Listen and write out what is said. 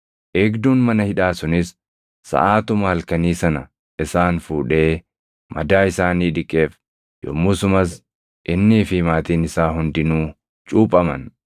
Eegduun mana hidhaa sunis saʼaatuma halkanii sana isaan fuudhee madaa isaanii dhiqeef; yommusumas innii fi maatiin isaa hundinuu cuuphaman.